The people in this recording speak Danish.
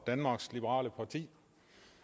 på de